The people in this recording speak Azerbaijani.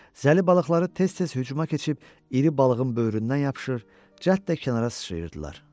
Zəli balıqları tez-tez hücuma keçib iri balığın böyründən yapışır, cəld də kənara sıçrayırdılar.